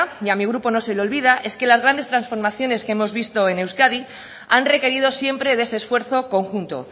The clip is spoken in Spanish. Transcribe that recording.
y a mi grupo no se le olvida es que las grandes transformaciones que hemos visto en euskadi han requerido siempre de ese esfuerzo conjunto